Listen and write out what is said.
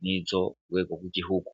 nkizo kurwego rwigihugu